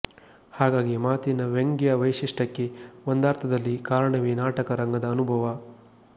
ಹಾಗಾಗಿ ಮಾತಿನ ವ್ಯಂಗ್ಯ ವೈಶಿಷ್ಟ್ಯಕ್ಕೆ ಒಂದರ್ಥದಲ್ಲಿ ಕಾರಣವೇ ನಾಟಕ ರಂಗದ ಅನುಭವ